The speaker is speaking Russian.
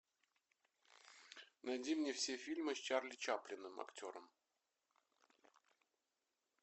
найди мне все фильмы с чарли чаплином актером